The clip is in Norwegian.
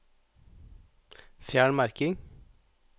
Fjern merking